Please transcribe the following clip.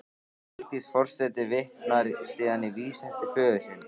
Vigdís forseti vitnar síðan í vísu eftir föður sinn